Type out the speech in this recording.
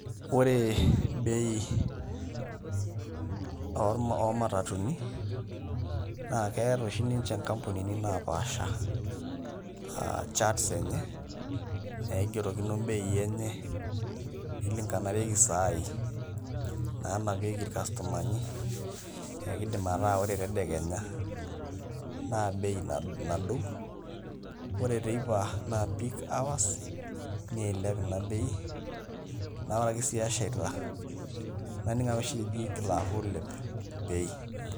Ore bei oomatatuni naa keeta oshi ninche nkampunini naapaasha charts enye naigerokino mbeii enye nilinganishare saai naanapieki irkastomani ekiidim ataa ore tedekenya naa bei nadou ore teipa naa peak hours niilep ina simu naa ore ake sii eshaita naning' ake oshi eji ingil aaku iilep bei.